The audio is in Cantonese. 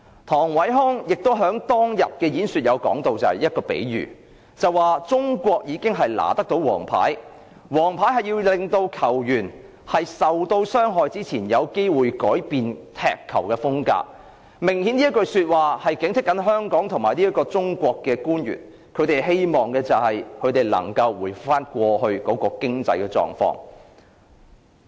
唐偉康亦在當日的演說提到一個比喻："中國已拿了黃牌，黃牌是要令球員在傷害別人前有機會改變踢球風格。"這句說話明顯是要警惕香港及中國的官員，希望能夠回復到過去的經濟狀況。